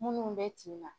Minnu bɛ tinna